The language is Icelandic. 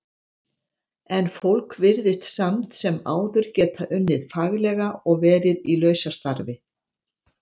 En fólk virðist samt sem áður geta unnið faglega og verið í lausastarfi.